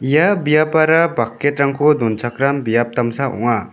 ia biapara bucket-rangko donchakram biap damsa ong·a.